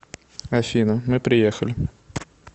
афина мы приехали